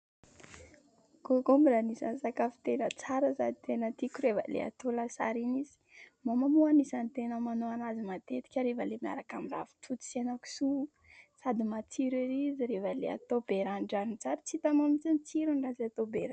" Concombre " anisany sakafo tena tsara sady tena tiako rehefa ilay atao lasary iny izy ; mama moa anisany tena manao anazy matetika rehefa ilay miaraka amin'ny ravitoto sy henan-kisoa sady matsiro ery izy rehefa ilay atao be ranon-dranony tsara tsy hitanao mihitsy ny tsirony raha tsy atao be ranony.